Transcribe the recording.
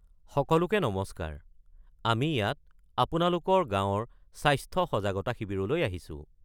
সকলোকে নমস্কাৰ, আমি ইয়াত আপোনালোকৰ গাঁৱৰ স্বাস্থ্য সজাগতা শিবিৰলৈ আহিছোঁ।